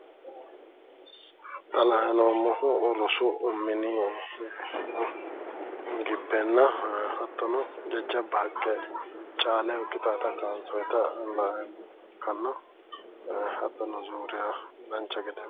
Xa la"ayi noommohu rosu mini gibbenna hattono jajjabba haqqe caaleho ikkitawota kaansoyita la"ayi noommoha ikkanna hattono zuuriya dancha gede